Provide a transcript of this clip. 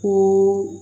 Ko